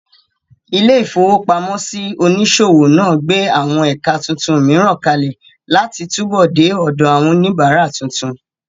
Ilé-ìfowópamọ́sí onísòwò náà gbé àwọn ẹ̀ka tuntun mìíràn kalẹ̀ láti túbọ̀ dé ọ̀dọ̀ àwọn oníbàárà tuntun